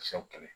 Sɛw kɛlɛ